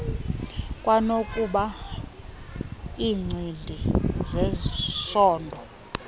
kwanokuba iincindi zesondo